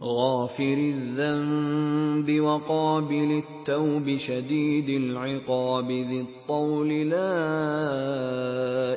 غَافِرِ الذَّنبِ وَقَابِلِ التَّوْبِ شَدِيدِ الْعِقَابِ ذِي الطَّوْلِ ۖ لَا